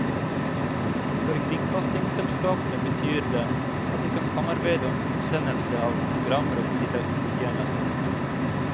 For kringkastingsselskapene betyr det at de kan samarbeide om utsendelse av programmer og tilleggstjenester.